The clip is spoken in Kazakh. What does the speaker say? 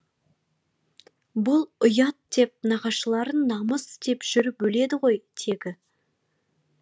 бұл ұят деп нағашыларың намыс деп жүріп өледі ғой тегі